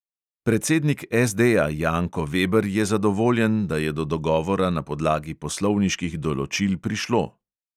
Predsednik SDja janko veber je zadovoljen, da je do dogovora na podlagi poslovniških določil prišlo.